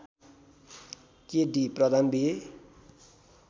के D Pradhan B ए